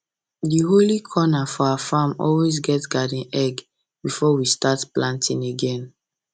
di holy corner for our farm always get garden egg before we start planting again